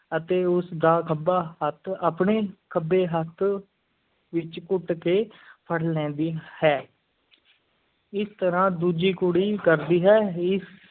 ਅਤੇ ਉਸ ਦਾ ਖੱਬਾ ਹੱਥ ਆਪਣੇ ਖੱਬੇ ਹੱਥ ਵਿੱਚ ਘੁੱਟ ਕੇ ਫੜ ਲੈਂਦੀ ਹੈ ਇਸ ਤਰ੍ਹਾਂ ਦੂਜੀ ਕੁੜੀ ਕਰਦੀ ਹੈ, ਇਸ